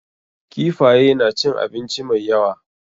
Kifaye na cin abinci mai yawa.